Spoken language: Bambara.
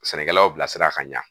Sɛnɛkɛlaw bilasira ka ɲa